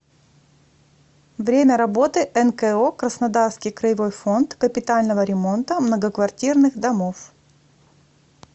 время работы нко краснодарский краевой фонд капитального ремонта многоквартирных домов